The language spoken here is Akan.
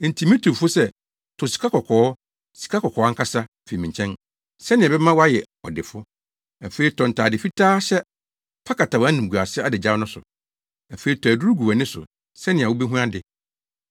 Enti mitu wo fo sɛ tɔ sikakɔkɔɔ, sikakɔkɔɔ ankasa, fi me nkyɛn, sɛnea ɛbɛma woayɛ ɔdefo. Afei, tɔ ntade fitaa hyɛ na fa kata wʼanimguase adagyaw no so. Afei tɔ aduru gu wʼani so, sɛnea wubehu ade.